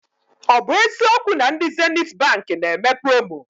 Ọ bụ eziokwu na ndị Zenithi Baankị na eme promo?